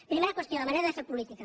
primera qüestió la manera de fer política